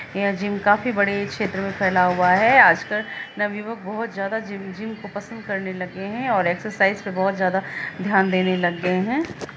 यह जिम काफी बड़े छेत्र में फैला हुआ है आजकल नवयुवक बहुत ज्यादा जिमजिम को पसंद करने लग गए हैं और एक्सर्साइज़ पर बहुत ज्यादा ध्यान देने लग गए है।